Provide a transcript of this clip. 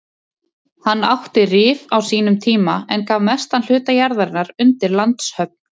Hann átti Rif á sínum tíma en gaf mestan hluta jarðarinnar undir landshöfn.